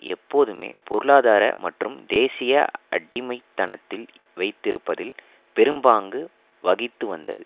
எப்போதுமே பொருளாதார மற்றும் தேசிய அடிமைத்தனத்தில் வைத்திருப்பதில் பெரும்பாங்கு வகித்துவந்தது